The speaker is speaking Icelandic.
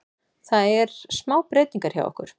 Það er smá breytingar hjá okkur.